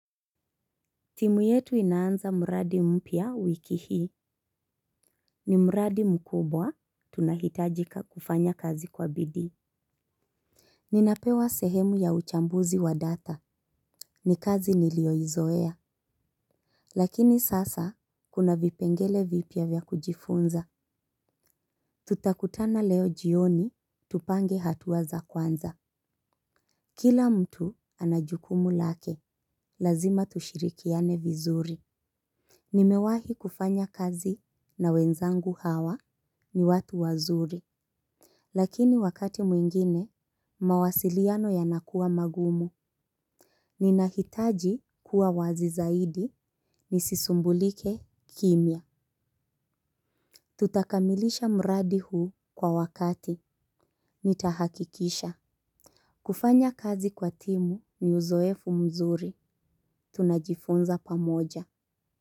Timu yetu inaanza mradi mpya wiki hii ni mradi mkubwa tunahitajika kufanya kazi kwa bidii. Ninapewa sehemu ya uchambuzi wa data ni kazi niliyoizoea. Lakini sasa kuna vipengele vipya vya kujifunza. Tutakutana leo jioni tupange hatua za kwanza. Kila mtu ana jukumu lake lazima tushirikiane vizuri. Nimewahi kufanya kazi na wenzangu hawa ni watu wazuri. Lakini wakati mwingine, mawasiliano yanakuwa magumu. Ninahitaji kuwa wazi zaidi, nisisumbulike kimya. Tutakamilisha mradi huu kwa wakati, nitahakikisha. Kufanya kazi kwa timu ni uzoefu mzuri, tunajifunza pamoja.